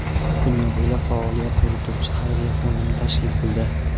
dunyo bo‘ylab faoliyat yurituvchi xayriya fondini tashkil qildi.